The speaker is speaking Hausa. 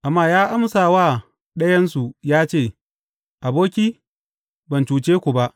Amma ya amsa wa ɗayansu ya ce, Aboki, ban cuce ka ba.